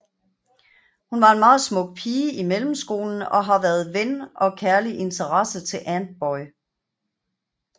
Hun var en meget smuk pige i mellemskolen og har været ven og kærliginteresse til Antboy